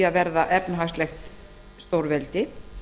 að verða efnahagslegt stórveldi